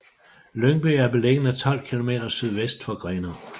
Lyngby er beliggende 12 kilometer sydvest for Grenaa